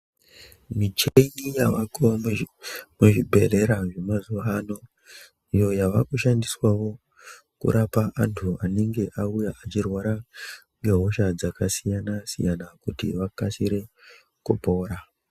Micheni yavako muzvibhedhlera zvemazuva ano. Iyo yavakushandiswavo kurapa antu anenge auya achirwara ngehosha dzakasiyana-siyana, kuti vakasire kupora.